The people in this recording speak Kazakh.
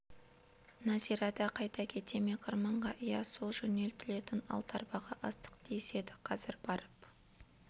нәзира да қайта кете ме қырманға иә со жөнелтілетін алты арбаға астық тиеседі қазір барып